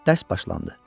Dərs başlandı.